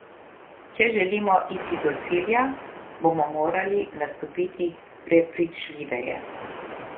Če želimo iti do cilja, bomo morali nastopiti prepričljiveje.